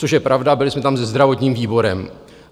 Což je pravda, byli jsme tam se zdravotním výborem.